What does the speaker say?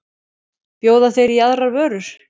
Bjóða þeir í aðrar vörur?